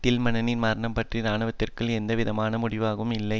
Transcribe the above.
டில்மன்னின் மரணம் பற்றி இராணுவத்திற்குள் எந்தவிதமான மூடிமறைத்தலும் இல்லை